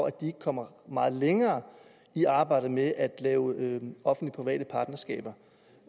at de ikke kommer meget længere i arbejdet med at lave offentlig private partnerskaber